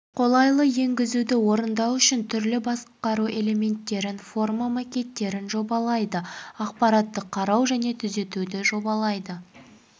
қолайлы енгізуді орындау үшін түрлі басқару элементтерімен форма макеттерін жобалайды ақпаратты қарау және түзетуді жобалайды